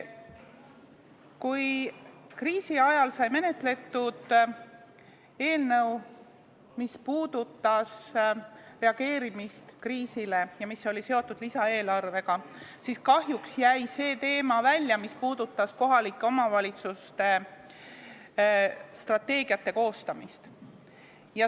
Kui kriisi ajal sai menetletud eelnõu, mis puudutas reageerimist kriisile ja oli seotud lisaeelarvega, siis kahjuks jäi välja see teema, mis puudutas kohalike omavalitsuste strateegiate koostamist.